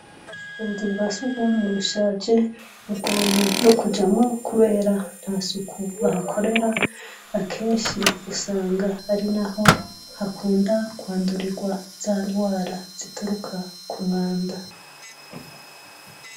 Ubuzu bwasugumwe bushaje bigoye nokujamwo kubera ntasuku barakorera akenshi niho bakunda kwandwa za ngwara zituruka kumwanda.